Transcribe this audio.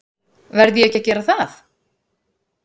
Verð ég ekki að gera það?